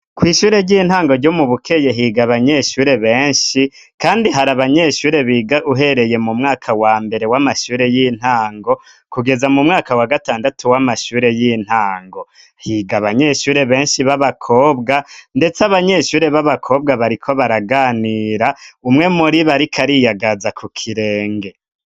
Kw'ishure ry'intango ryo mu bukeye higa abanyeshure benshi, kandi hari abanyeshure biga uhereye mu mwaka wa mbere w'amashure y'intango kugeza mu mwaka wa gatandatu w'amashure y'intango higa abanyeshure benshi b'abakobwa, ndetse abanyeshure b'abakobwa bariko baraganira umwe muri bari k aria yagaza ku kirenge.